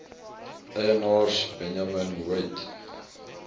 eienaars benjamin weigt